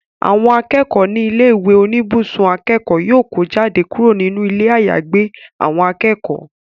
Àwọn akẹ́kọ̀ọ́ ní ilé ìwé oníbùsùn akẹ́kọ̀ọ́ yóò kó jáde kúrò nínú ilé àyàgbé àwọn akẹ́kọ̀ọ́